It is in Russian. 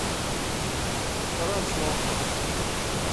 карачев